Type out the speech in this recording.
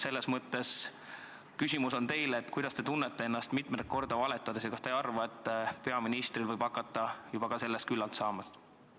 Selles mõttes on mul teile küsimus: kuidas te ennast tunnete, mitmendat korda valetades, ja kas te ei arva, et peaministril võib hakata sellest küllalt saama?